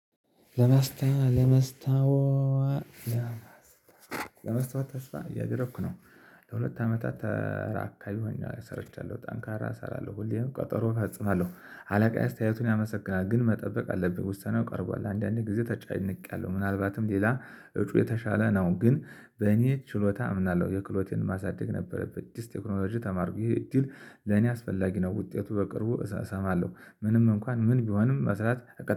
ለመስታወት ለመስታወት ለመስታወት ለመስታወት ተስፋ እያገረኩ ነው። ለሁለት አመታት አራት አካባቢ ሆኜ ሰርቻለሁ ጠንካራ እሰራለሁ ሁሌም ቀጠሮ እፈጽማለሁ። አለቃየ አስተያየቱን ያመሰግናል ግን መጠበቅ አለብህ ውሳኔው ቀርቧል። አንዳንዴ ጊዜ ተጨንቄያለሁ ምናልባትም ሌላ እጩ የተሻለ ነው። ግን በእኔ ችሎታ አምናለሁ። የክሎቴን ማሳደግ ነበረበት። አዳዲስ ቴክኖሎጂ ተማርኩኝ እድል ለኔ አስፈላጊ ነው። ውጤቱ በቅርቡ እሰማለሁ። ምንም እንኳን ምን ቢሆንም መስራት